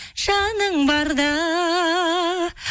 жаның барда